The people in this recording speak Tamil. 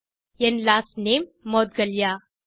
N last name Moudgalya